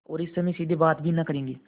और इस समय सीधे बात भी न करेंगे